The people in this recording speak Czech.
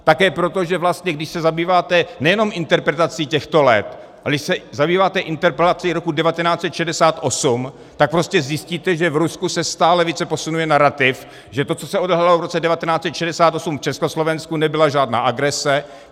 Také proto, že vlastně když se zabýváte nejenom interpretací těchto let, ale když se zabýváte interpretací roku 1968, tak prostě zjistíte, že v Rusku se stále více posunuje narativ, že to, co s odehrálo v roce 1968 v Československu, nebyla žádná agrese.